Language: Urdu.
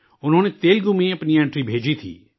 انہوں نے تیلگو میں اپنی انٹری بھیجی تھی